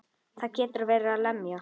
Það getur verið að lemja.